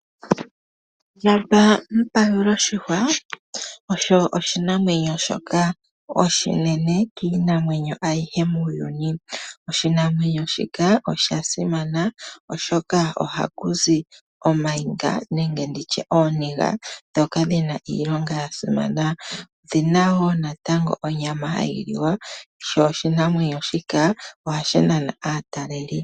Nampa-pawuloshihwa osho oshinamwenyo shoka oshinene kiinamwenyo ayihe muuyuni, oshinamwenyo shika oshoka simana oshoka oha zi ooniga ndhoka dhina iilonga ya simana. Odhina wo natango onyama hayi liwa, sho oshinamwenyo shika ohashi nana aataleli.